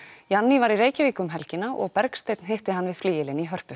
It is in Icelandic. ianni var í Reykjavík um helgina og Bergsteinn hitti hann við flygilinn í Hörpu